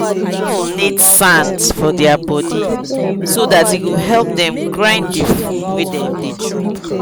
fowl need sands for their body so that e go help them grind the food wa them chop